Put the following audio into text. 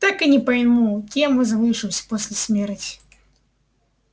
так и не пойму кем возвышусь после смерти